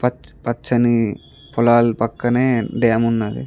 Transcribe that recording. పచ్చని పొలాల పకనే డమ్ఉ ఉన్నది .